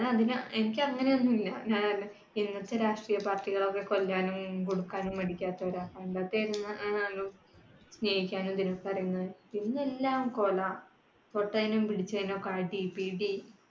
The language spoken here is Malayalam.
എനിക്ക് അങ്ങനെ ഒന്നുമില്ല. ഞാ ഇന്നത്തെ രാഷ്ട്രീയ party കൾ ഒക്കെ കൊല്ലാനും കൊടുക്കാനും മടിക്കാത്തവരാണ്. പണ്ടത്തെ സ്നേഹിക്കാൻ എന്തിന് ഇന്ന് എല്ലാം കൊല. തൊട്ടതിനും പിടിച്ചതിനുമൊക്കെ അടി പിടി.